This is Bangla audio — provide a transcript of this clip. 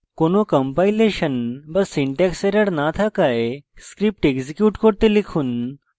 কোনো কম্পাইলেশন বা syntax error no থাকায় script execute করতে লিখুন